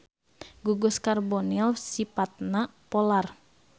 Gugus karbonil sipatna polar.